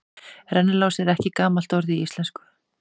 Rennilás er ekki gamalt orð í íslensku.